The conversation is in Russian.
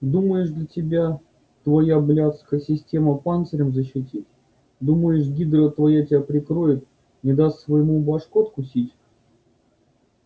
думаешь тебя твоя блядская система панцирем защитит думаешь гидра твоя тебя прикроет не даст своему башку откусить